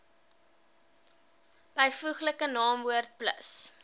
byvoeglike naamwoord plus